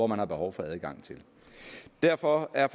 man har behov for adgang til derfor er